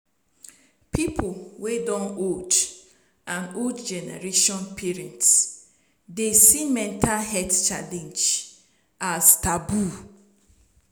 pipo wey don old and old generation parents dey see mental health challenge as taboo